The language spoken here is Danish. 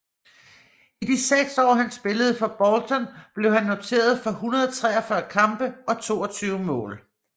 I de seks år han spillede for Bolton blev han noteret for 143 kampe og 22 mål